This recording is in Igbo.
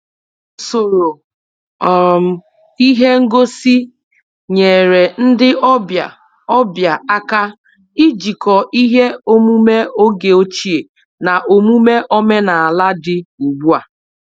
Usoro um ihe ngosi’ nyeere ndị ọbịa ọbịa aka ijikọ ihe omume oge ochie na omume omenala dị ugbu a